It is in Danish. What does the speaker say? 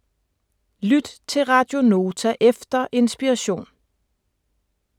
Lyt til Radio Nota efter Inspiration